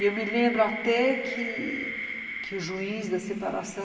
E eu me lembro até que o juiz da separação,